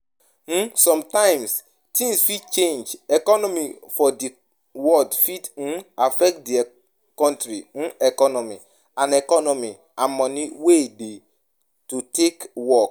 um Sometimes things fit change, economy for di world fit um affect di country um economy and economy and money wey dey to take work